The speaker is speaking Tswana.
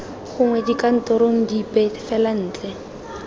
gongwe dikantorong dipe fela ntle